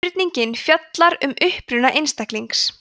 spurningin fjallar um uppruna einstaklings